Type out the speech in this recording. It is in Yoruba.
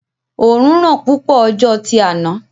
Òorùn ran púpọ̀ ọjọ́ tí áná